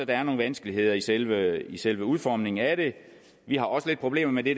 er nogle vanskeligheder i selve i selve udformningen af det vi har også lidt problemer med det